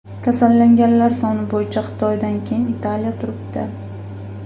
Kasallanganlar soni bo‘yicha Xitoydan keyin Italiya turibdi.